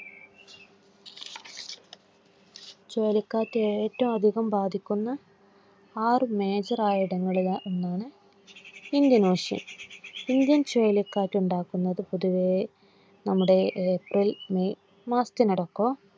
ചുഴലിക്കാറ്റ് ഏറ്റവും അധികം ബാധിക്കുന്ന ആറു major ആയിടങ്ങളിൽ ഒന്നാണ് ഇന്ത്യൻ ഇന്ത്യൻ ചുഴലിക്കാറ്റ് ഉണ്ടാക്കുന്ന പൊതുവേ നമ്മുടെ ഏപ്രിൽ മെയ് മാസത്തിനിടക്കോ